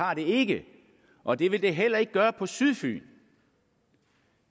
har det ikke og det vil det heller ikke gøre på sydfyn